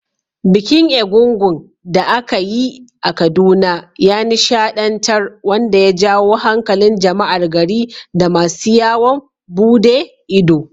Bikin egúngún da aka yi a Kaduna ya nishaɗantar, wanda ya jawo hankalin jama’ar gari da masu yawon bude ido.